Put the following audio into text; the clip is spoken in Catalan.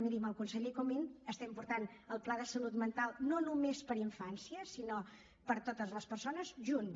miri amb el conseller comín portem el pla de salut mental no només per a infància sinó per a totes les persones junts